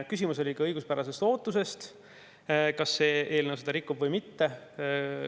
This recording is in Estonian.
Küsimus oli ka õiguspärases ootuses – kas see eelnõu seda rikub või mitte.